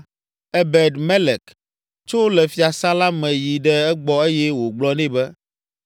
Ebed Melek tso le fiasã la me yi ɖe egbɔ eye wògblɔ nɛ bena,